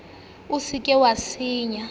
o se ke wa senya